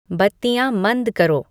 बत्तियाँ मंद करो